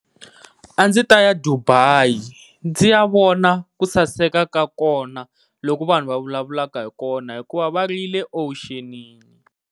A ndzi ta ya Dubai ndzi ya vona ku saseka ka kona loku vanhu va vulavulaka hi kona hikuva ya ri yile owuxinini.